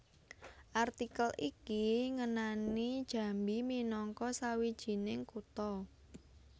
Artikel iki ngenani Jambi minangka sawijining kutha